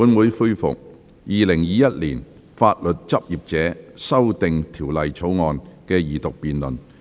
本會恢復《2021年法律執業者條例草案》的二讀辯論。